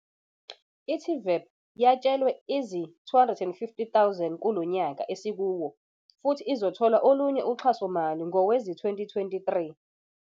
I-TVEP yatshelwe izi-R250 000 kulonyaka esikuwo futhi izothola olunye uxhasomali ngowezi-2023.